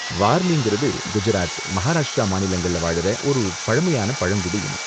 வார்லிங்குறது குஜராத், மகாராஷ்டிரா மாநிலங்கள்ல வாழுற ஒரு பழமையான பழங்குடி இனம்.